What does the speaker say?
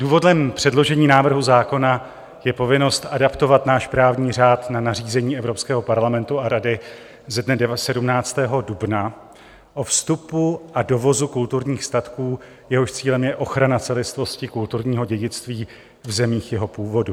Důvodem předložení návrhu zákona je povinnost adaptovat náš právní řád na nařízení Evropského parlamentu a Rady ze dne 17. dubna o vstupu a dovozu kulturních statků, jehož cílem je ochrana celistvosti kulturního dědictví v zemích jeho původu.